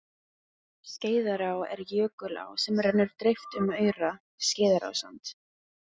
Skeiðará er jökulá sem rennur dreift um aura, Skeiðarársand.